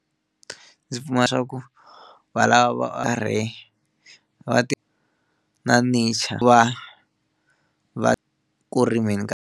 Ndzi pfumela leswaku va lava va karhi va ti na va ku ri mi nga.